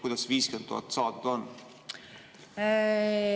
Kuidas see 50 000 saadud on?